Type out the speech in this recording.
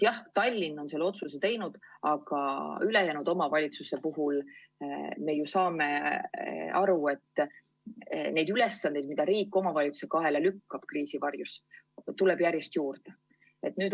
Jah, Tallinn on selle otsuse teinud, aga üldse omavalitsuste puhul me ju saame aru, et ülesandeid, mida riik kriisi varjus omavalitsuse kaela lükkab, tuleb järjest juurde.